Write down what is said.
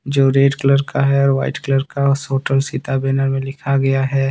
जो red colour का है और व्हाइट कलर का होटल सीता बैनर में लिखा गया है।